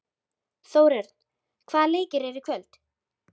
Þórörn, hvaða leikir eru í kvöld?